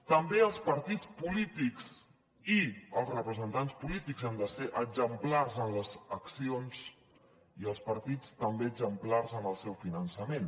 també els partits polítics i els representants polítics han de ser exemplars en les accions i els partits també exemplars en el seu finançament